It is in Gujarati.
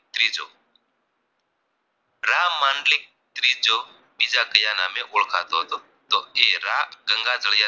રામમાંડલી ત્રીજો બીજા કયા નામે ઓળખાતો હતો તો એ રા ગંગાધર